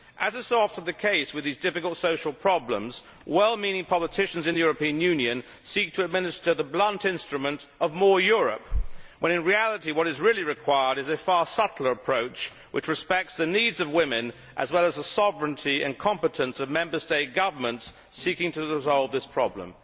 As is so often the case with these difficult social problems, well meaning politicians in the EU seek to administer the blunt instrument of more Europe', when in reality what is required is a far subtler approach, respecting the needs of women as well as the sovereignty and competence of Member State governments seeking to resolve this problem.